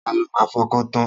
Ta ló máa fọkàn tan?